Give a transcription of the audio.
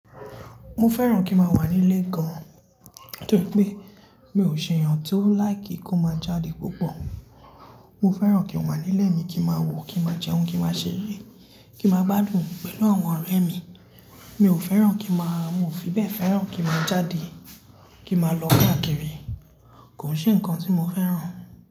Mo fẹ́ràn kí n máa wà nílé gan, torí pé mi ò ṣe èèyàn tó like kó máa jáde púpọ̀. Mo fẹ́ràn kí n máa wà nílé mi, kí n máa wò, kí n máa jẹun, kí n máa ṣeré, kí n máa gbadùn pẹ̀lú àwọn ọ̀rẹ́ mi. Mi ò fẹ́ràn kí n máa-- mo ò fi bẹ́ẹ̀ fẹ́ràn kí n máa jáde, kí n máa lọ káàkiri. Kò ṣe ǹkan tí mo fẹ́ràn.